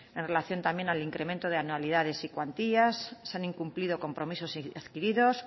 en relación también al incremento de anualidades y cuantías se han incumplido compromisos adquiridos